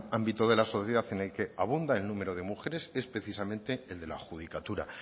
ámbito de la sociedad en el que abunda el número de mujeres es precisamente el de la judicatura